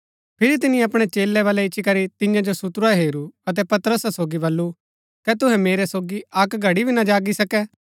फिरी तिनी अपणै चेलै बलै इच्ची करी तियां जो सुतुरा हेरू अतै पतरसा सोगी बल्लू कै तुहै मेरै सोगी अक्क घड़ी भी ना जागी सकै